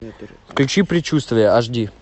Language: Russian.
включи предчувствие аш ди